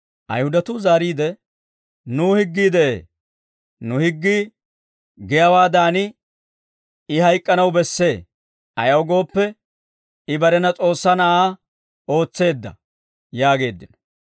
Ayihudatuu zaariide, «Nuw higgii de'ee; nu higgii giyaawaadan, I hayk'k'anaw bessee; ayaw gooppe, I barena S'oossaa Na'aa ootseedda» yaageeddino.